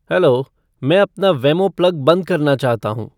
hello मैं अपना Wemo plug बंद करना चाहता हूँ